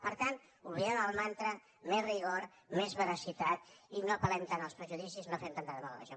per tant oblidem el mantra més rigor més veracitat i no apel·lem tant als prejudicis no fem tanta demagògia